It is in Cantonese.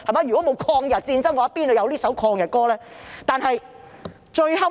如果沒有抗日戰爭，怎會有這首抗日歌曲？